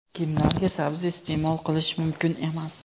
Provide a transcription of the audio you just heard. Kimlarga sabzi iste’mol qilish mumkin emas?.